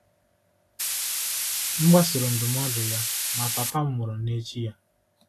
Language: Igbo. M gbasoro ndụmọdụ ya, ma papa m nwụrụ n’echi ya.